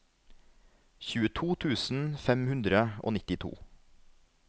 tjueto tusen fem hundre og nittito